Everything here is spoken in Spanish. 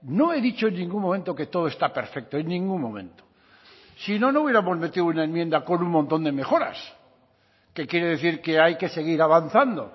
no he dicho en ningún momento que todo está perfecto en ningún momento si no no hubiéramos metido una enmienda con un montón de mejoras que quiere decir que hay que seguir avanzando